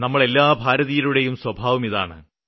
നമ്മള് എല്ലാ ഭാരതീയരുടെയും സ്വഭാവം ഇതാണ്